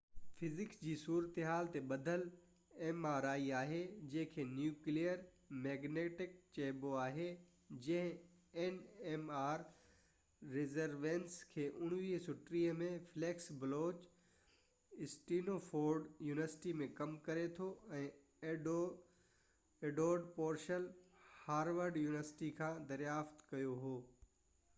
mri physics جي صورتحال تي ٻڌل آهي جنهن کي نيوڪليئر مئگنيٽڪ ريزونينس nmr چئبو آهي، جنهن کي 1930 ۾ فليڪس بلوچ اسٽينفورڊ يونيورسٽي م ڪم ڪري ٿو ۽ ايڊورڊ پورسيل هارورڊ يونيورسٽي کان دريافت ڪيو هو